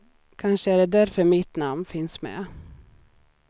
Kanske är det därför mitt namn finns med.